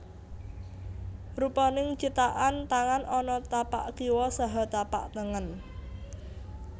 Rupaning cithakan tangan ana tapak kiwa saha tapak tengen